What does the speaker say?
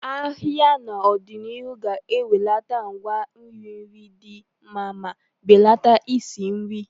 Ahịa n'ọdịnihu ga-akwalite àgwà iri nri dị mma ma belata nsị nri.